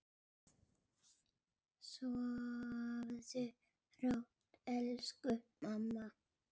Sofðu rótt, elsku mamma.